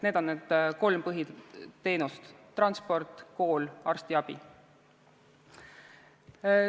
Need on kolm põhiteenust: transport, kool, arstiabi.